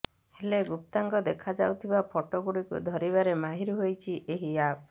ହେଲେ ଗୁପ୍ତାଙ୍ଗ ଦେଖାଯାଉଥିବା ଫଟୋ ଗୁଡିକୁ ଧରିବାରେ ମାହିର୍ ହେଉଛି ଏହି ଆପ୍